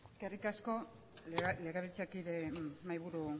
eskerrik asko legebiltzarkide mahaiburu